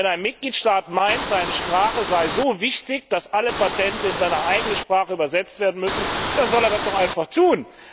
Wenn ein Mitgliedstaat meint, seine Sprache sei so wichtig, dass alle Patente in seine eigene Sprache übersetzt werden müssen, dann soll er das doch einfach tun!